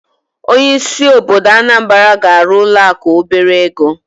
Onye isi obodo Anambra ga arụ ụlọ akụ obere ego.